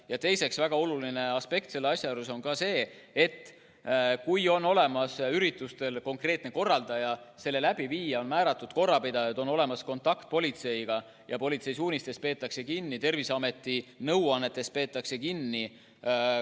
Ja teiseks, väga oluline aspekt selle asja juures on ka see, kas üritusel on konkreetne korraldaja, selle läbiviija, kas on määratud korrapidajad, kas on olemas kontakt politseiga ja politsei suunistest peetakse kinni, Terviseameti nõuannetest peetakse kinni.